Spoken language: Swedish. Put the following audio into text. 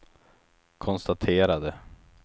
konstaterade